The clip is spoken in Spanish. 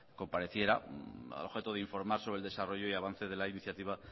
compareciera al objeto de informar sobre el desarrollo y avance de la iniciativa